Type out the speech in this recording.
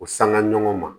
U sanga ɲɔgɔn ma